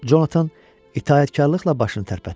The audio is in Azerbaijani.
Conatan itaətkarlıqla başını tərpətdi.